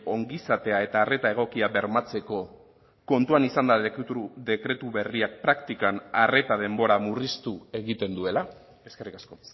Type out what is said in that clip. ongizatea eta arreta egokia bermatzeko kontuan izanda dekretu berriak praktikan arreta denbora murriztu egiten duela eskerrik asko